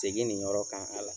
Segi nin yɔrɔ kan a la